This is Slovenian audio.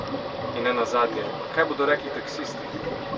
In ne nazadnje, kaj bodo rekli taksisti?